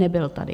Nebyl tady.